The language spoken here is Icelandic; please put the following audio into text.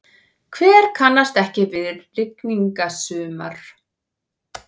Hver kannast ekki við rigningasumur?